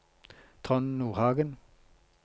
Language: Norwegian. Trond Nordhagen